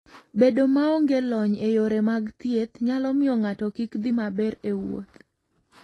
Bedo maonge lony e yore mag thieth nyalo miyo ng'ato kik dhi maber e wuoth.